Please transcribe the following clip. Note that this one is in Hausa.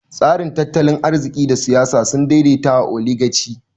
Tasirin tattalin arziki da siyasa sun daidaita a Oligaci.